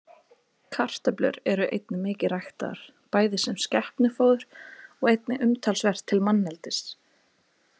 Kartöflur eru einnig mikið ræktaðar, bæði sem skepnufóður og einnig umtalsvert til manneldis.